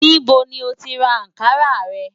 Níbó ni o ti rà Ànkarà rẹ̀?